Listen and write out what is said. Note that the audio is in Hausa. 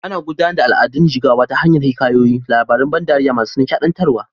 Ana gudanar da al'adun jigawa ta hanyar hikayoyi, labaran ban dariya masu nishaɗantarwa.